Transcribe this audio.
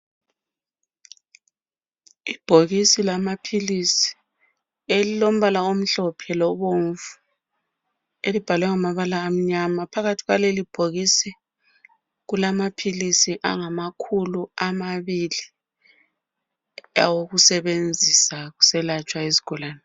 Ibhokisi lamaphilisi elilombala omhlophe lobomvu elibhalwe ngamabala amnyama phakathi kwaleli bhokisi kulamaphilisi angamakhulu amabili awokusebenzisa kuselatshwa izigulane.